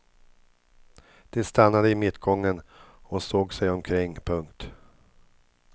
De stannade i mittgången och såg sig omkring. punkt